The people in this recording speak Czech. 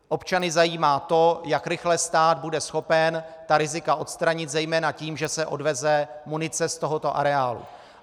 Občany zajímá to, jak rychle stát bude schopen ta rizika odstranit, zejména tím, že se odveze munice z tohoto areálu.